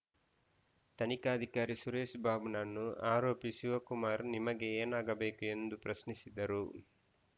ತನಿಖಾಧಿಕಾರಿ ಸುರೇಶ್‌ ಬಾಬುನನ್ನು ಆರೋಪಿ ಶಿವಕುಮಾರ್‌ ನಿಮಗೆ ಏನಾಗಬೇಕು ಎಂದು ಪ್ರಶ್ನಿಸಿದ್ದರು